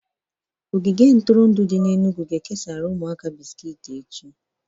Ogige ntụrụndụ dị n'Enugwu ga-ekesara ụmụaka bisikiti echị